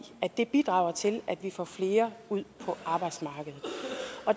at det bidrager til at vi får flere ud på arbejdsmarkedet